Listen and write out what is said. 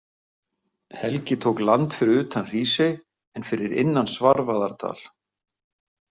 Helgi tók land fyrir utan Hrísey en fyrir innan Svarfaðardal.